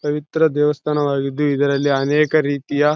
ಪವಿತ್ರ ದೇವಸ್ಥಾನವಾಗಿದೆ ಇದರಲ್ಲಿ ಅನೇಕ ರೀತಿಯ--